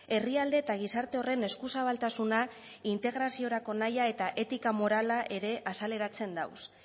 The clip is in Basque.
herrialde eta gizarte horren eskuzabaltasuna integraziorako nahia eta etika morala ere azaleratzen dauz